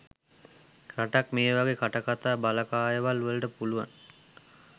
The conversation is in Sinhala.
රටක් මේ වගේ කටකතා බලකායවල් වලට පුළුවන්.